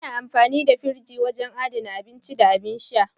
Ana amfani da firji wurin adana abinci da abin sha.